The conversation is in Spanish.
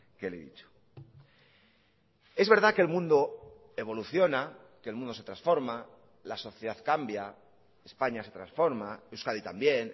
que le he dicho es verdad que el mundo evoluciona que el mundo se transforma la sociedad cambia españa se transforma euskadi también